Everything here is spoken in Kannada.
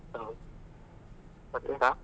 ಹೌದು. ?